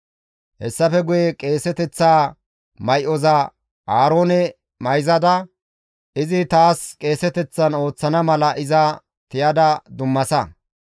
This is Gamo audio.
Hessafe guye qeeseteththa may7oza Aaroone mayzada izi taas qeeseteththan ooththana mala iza tiyada dummasa.